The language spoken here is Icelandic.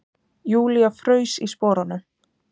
Júlía fraus í sporunum.